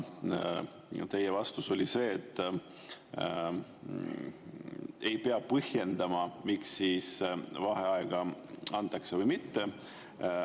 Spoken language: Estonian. Teie vastus oli, et ei pea põhjendama, miks vaheaega antakse või mitte.